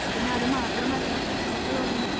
പിന്നെ അത് മാത്രമല്ല എനിക്ക് തോന്നുന്നു